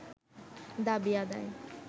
দাবি আদায়